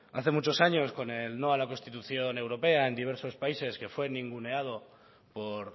hace muchos años con el no a la constitución europea en diversos países que fue ninguneado por